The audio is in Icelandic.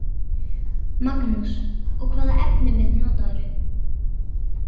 Magnús: Og hvaða efnivið notarðu?